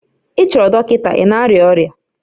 Ị chọrọ dọkịta, ị na-arịa ọrịa